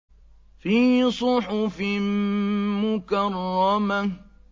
فِي صُحُفٍ مُّكَرَّمَةٍ